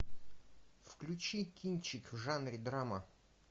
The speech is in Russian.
включи кинчик в жанре драма